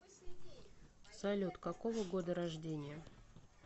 салют какого года рождения